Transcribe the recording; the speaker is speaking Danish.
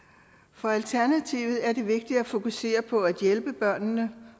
for alternativet er det vigtigt at fokusere på at hjælpe børnene